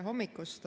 Tere hommikust!